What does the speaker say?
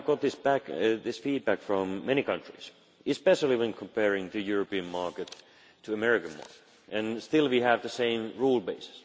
We have had this feedback from many countries, especially when comparing the European market to the American market, and still we have the same rule base.